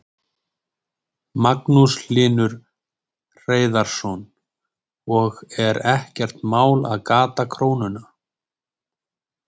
Magnús Hlynur Hreiðarsson: Og er ekkert mál að gata krónuna?